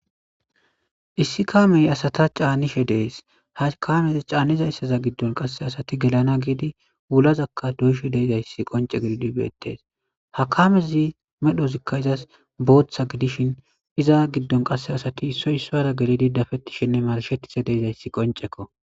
issi kaamey asata caanishe dees hakamez caanniza issaza giddon qasse asati gelana giidi wulazakka doyishe deezayssi qonce gelidi beettes hakamezi medhozikka izas booththa gidishin iza giddon qasse asati isoy soara gelidi dafettishenne marshetise deezayssi qoncekko